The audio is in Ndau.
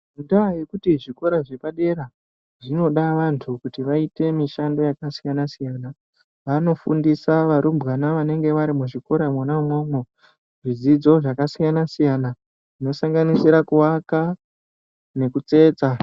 Ngendaya yekuti zvikora zvepadera zvinoda vantu kuti vaite mishando yakasiyana siyana vanofundisa varumbwana vanenge varimuzvikora mwona umwomwo zvidzidzo zvakasiyana zvinosanganisira kuvaka nekutsetsa.